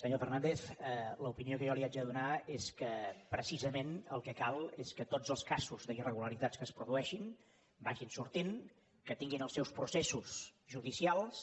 senyor fernàndez l’opinió que jo li haig de donar és que precisament el que cal és que tots els casos d’irregularitats que es produeixin vagin sortint que tinguin els seus processos judicials